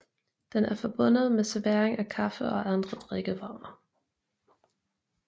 Den er forbundet med servering af kaffe og andre drikkevarer